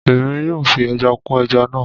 Èmi yóò fi ẹja kún ẹja náà